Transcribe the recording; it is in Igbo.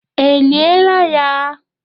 E lie la ya?